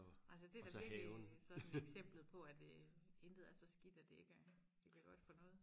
altså det er da virkelig sådan eksemplet på at intet er så skidt at det ikke er det ikke er godt for noget